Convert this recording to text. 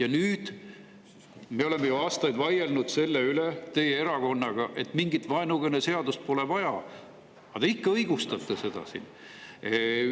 Ja nüüd – me oleme ju aastaid vaielnud teie erakonnaga selle üle, et mingit vaenukõne seadust pole vaja – te ikka õigustate seda siin.